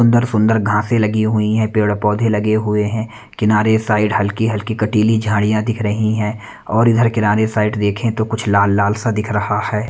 सुंदर-सुंदर घांसे लगी हुई हैं पेड़-पौधे लगे हुए हैं किनारे साइड हल्की-हल्की कटीली झाड़ियां दिख रही हैं और इधर किनारे साइड देखें तो कुछ लाल-लाल सा दिख रहा है।